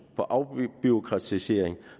på afbureaukratisering